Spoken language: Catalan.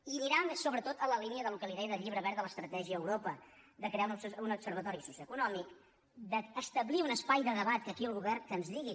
i aniran sobretot en la línia del que li deia del llibre verd de l’estratègia a europa de crear un observatori socioeconòmic d’establir un espai de debat que aquí el govern que ens digui